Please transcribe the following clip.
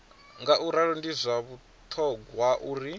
ngauralo ndi zwa vhuṱhogwa uri